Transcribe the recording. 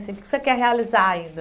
O que você quer realizar ainda?